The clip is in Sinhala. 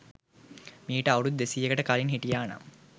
මීට අවුරුදු දෙසීයකට කලින් හිටියා නම්